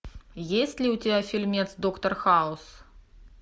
есть ли у тебя фильмец доктор хаус